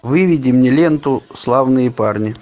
выведи мне ленту славные парни